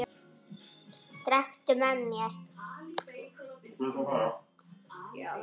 Drekktu með mér!